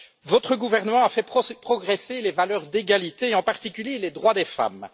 votre gouvernement a fait progresser les valeurs d'égalité et, en particulier, les droits des femmes.